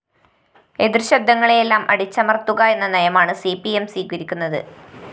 എതിര്‍ ശബ്ദങ്ങളെയെല്ലാം അടിച്ചമര്‍ത്തുക എന്ന നയമാണ് സി പി എം സ്വീകരിക്കുന്നത്